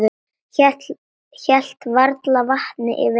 Hélt varla vatni yfir þeim.